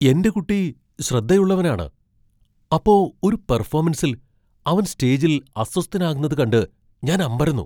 എന്റെ കുട്ടി ശ്രദ്ധയുള്ളവനാണ്, അപ്പോ ഒരു പെർഫാമൻസിൽ അവൻ സ്റ്റേജിൽ അസ്വസ്ഥനാകുന്നത് കണ്ട് ഞാൻ അമ്പരന്നു.